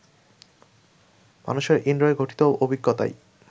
মানুষের ইন্দ্রিয় ঘটিত অভিজ্ঞতাই